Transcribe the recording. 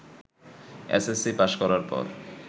SSC pass করার পর